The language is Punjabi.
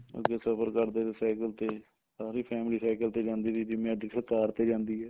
ਅੱਗੇ ਸਫਰ ਕਰਦੇ ਤੇ ਸਾਇਕਲ ਤੇ ਸਾਰੀ family ਸਾਇਕਲ ਤੇ ਜਾਂਦੀ ਸੀਗੀ ਜਿਵੇਂ ਅੱਜ ਕਾਰ ਤੇ ਜਾਂਦੀ ਆ